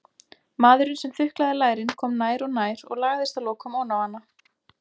Maðurinn sem þuklaði lærin kom nær og nær og lagðist að lokum oná hana.